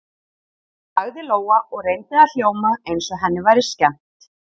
sagði Lóa og reyndi að hljóma eins og henni væri skemmt.